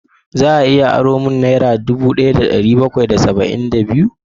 Za a iya aro min naira dubu daya da dari bakwai da saba'in da biyu?